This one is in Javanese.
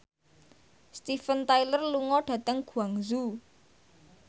Steven Tyler lunga dhateng Guangzhou